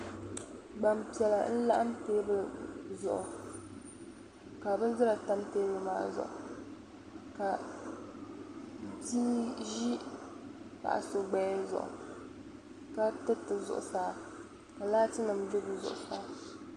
Gbaŋ piɛla n-laɣim teebuli zuɣu ka bindira tam teebuli maa zuɣu ka bi' ʒi paɣ'so gbaya zuɣu ka tiriti zuɣusaa ka laatinima be bɛ zuɣusaa.